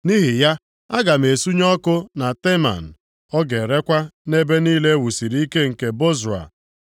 Nʼihi ya, aga m esunye ọkụ na Teman; ọ ga-erekwa nʼebe niile e wusiri ike nke Bozra.”